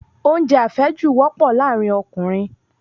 Oúnjẹ àfẹ́jù wọ́pọ̀ láàrin Ọkùnrin